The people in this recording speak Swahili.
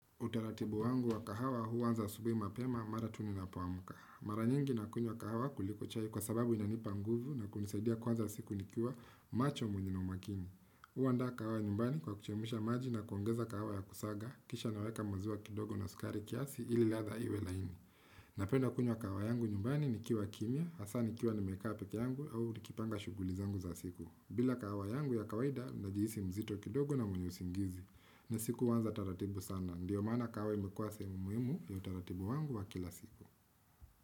Utaratibu wangu wa kahawa huwanza asubuhi mapema mara tu ni na poamka. Mara nyingi na kunywa kahawa kuliko chai kwa sababu inanipa nguvu na kunisaidia kuanza siku nikiwa macho mwenye na umakini. Uwanda kahawa nyumbani kwa kuchemisha maji na kuongeza kahawa ya kusaga kisha naweka mazua kidogo na sukari kiasi ili latha iwe laini. Napenda kunywa kahawa yangu nyumbani nikiwa kimya, hasa nikiwa ni make-upik yangu au nikipanga shughuli zangu za siku. Bila kawa yangu ya kawaida nahijiisi mzito kidogo na mwenye usingizi na siku wanza taratibu sana ndiyo maana kawa imekuase muhimu ya taratibu wangu wa kila siku.